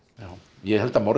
ég held að